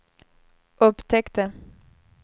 upptäckte